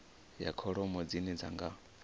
ya kholomo dzine dzi nga